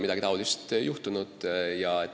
Midagi sellist ei ole juhtunud.